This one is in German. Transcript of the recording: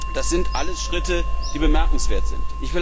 Das sind alles Schritte, die bemerkenswert sind.